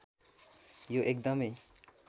यो एकदमै